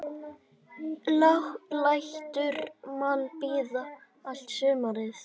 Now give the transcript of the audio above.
Lætur mann bíða allt sumarið.